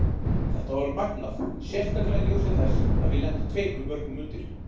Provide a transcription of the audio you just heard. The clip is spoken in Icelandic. Þetta var magnað, sérstaklega í ljósi þess að við lentum tveimur mörkum undir.